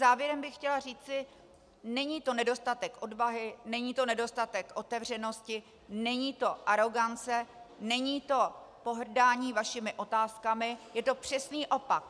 Závěrem bych chtěla říci, není to nedostatek odvahy, není to nedostatek otevřenosti, není to arogance, není to pohrdání vašimi otázkami, je to přesný opak.